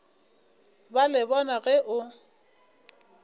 ba le bona ge o